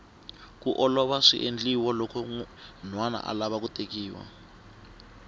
kiu lovola swiendliwa loko nhwana alava ku tekiwa